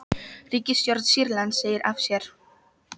Ríkisstjórn Sýrlands segir af sér